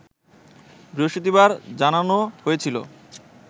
বৃহস্পতিবার জানানো হয়েছিল